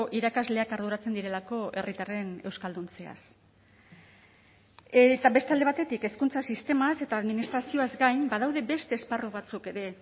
irakasleak arduratzen direlako herritarren euskalduntzeaz eta beste alde batetik hezkuntza sistemaz eta administrazioaz gain badaude beste esparru batzuk ere